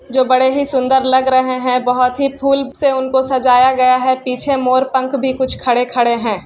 जो बड़े ही सुंदर लग रहे है बहुत ही फूल से उनको सजाया गया है पीछे मोर पंख भी कुछ खड़े-खड़े है।